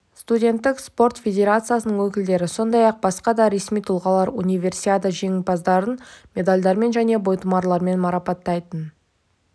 студенттік спорт федерациясының өкілдері сондай-ақ басқа да ресми тұлғалар универсиада жеңімпаздарын медальдермен және бойтұмарлармен марапаттайтын